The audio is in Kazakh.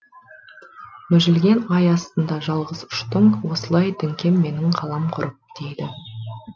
мүжілген ай астында жалғыз ұштың осылай діңкем менің қалам құрып дейді